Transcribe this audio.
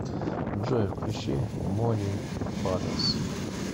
джой включи мони бадас